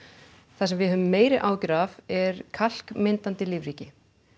það sem við höfum meiri áhyggjur af er kalkmyndun í lífríki